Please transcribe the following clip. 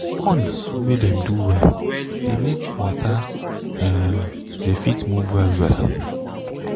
pond wey dem do well de make water um de fit move well well